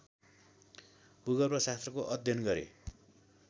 भूगर्वशास्त्रको अध्ययन गरे